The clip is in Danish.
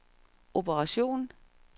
operation